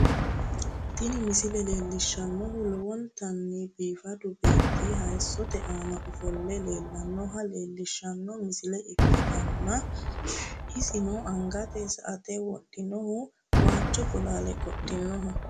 Tini misile leellishshannohu lowontanni biifadu beetti hayiisote aana ofolle nooha leellishshanno misile ikkitanna, isino angate sa"ate wodhinohu, waajjo bolaale qodhinoho.